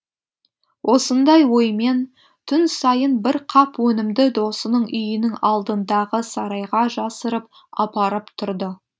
осындай оймен түн сайын бір қап өнімді досының үйінің алдындағы сарайға жасырып апарып тұрды